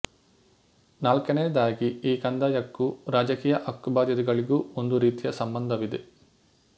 ನಾಲ್ಕನೆಯದಾಗಿ ಈ ಕಂದಾಯಕ್ಕೂ ರಾಜಕೀಯ ಹಕ್ಕುಬಾಧ್ಯತೆಗಳಿಗೂ ಒಂದು ರೀತಿಯ ಸಂಬಂಧವಿದೆ